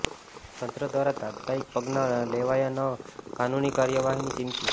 તંત્ર દ્વારા તાત્કાલિક પગલાં ન લેવાય તો કાનૂની કાર્યવાહીની ચીમકી